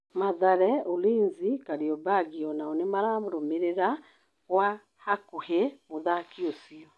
Mathare, Ulinzi na Kariombangi onao nĩmararũmĩrĩra gwa hakuhí mũthaki ũcio.